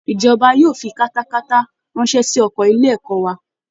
Ìjọba yóò fi katakata ránṣẹ́ sí ọkọ ilé ẹ̀kọ́ wa